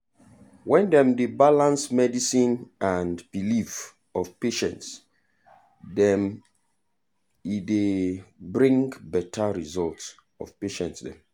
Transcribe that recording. when dem dey balance medicine and belief of patients dem e dey bring better result of patient dem.